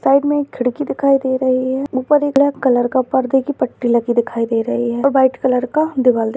side मे एक खिड़की दिखाई दे रही है उपर एक ब्लैक कलर का परदे की पट्टी लगी दिखाई दे रही है और व्हाइट कलर का दीवाल --